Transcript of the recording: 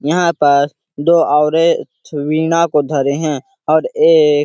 यहाँ पर दौड़ और वीना को तो धरे हैं और एक--